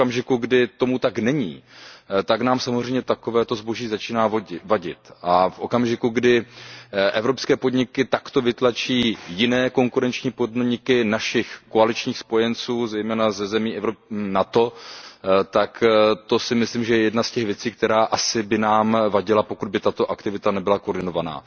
Ale v okamžiku, kdy tomu tak není, tak nám samozřejmě takovéto zboží začíná vadit a v okamžiku, kdy evropské podniky takto vytlačí jiné konkurenční podniky našich koaličních spojenců, zejména ze zemí NATO, tak to je, myslím si, jedna z věcí, která by nám asi vadila, pokud by tato aktivita nebyla koordinovaná.